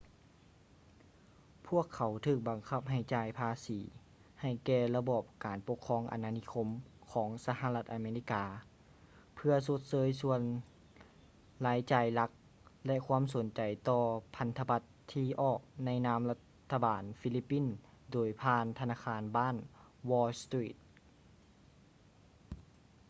ພວກເຂົາຖືກບັງຄັບໃຫ້ຈ່າຍພາສີໃຫ້ແກ່ລະບອບການປົກຄອງອານານິຄົມຂອງສະຫະລັດອາເມລິກາເພື່ອຊົດເຊີຍສ່ວນລາຍຈ່າຍຫຼັກ ແລະ ຄວາມສົນໃຈຕໍ່ພັນທະບັດທີ່ອອກໃນນາມລັດຖະບານຟີລິບປິນໂດຍຜ່ານທະນາຄານບ້ານ wall street